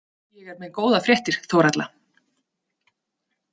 Ég er með góðar fréttir, Þórhalla